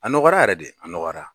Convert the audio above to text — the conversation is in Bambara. A nɔgɔyara yɛrɛ de a nɔgɔyara.